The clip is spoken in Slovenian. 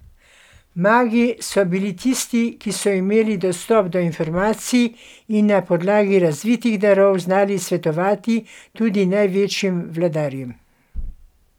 Magi so bili tisti, ki so imeli dostop do informacij in na podlagi razvitih darov znali svetovati tudi največjim vladarjem.